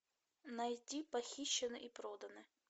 найти похищены и проданы